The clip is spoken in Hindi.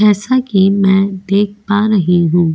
जैसा कि मैं देख पा रही हूं.